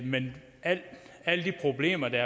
men alle de problemer der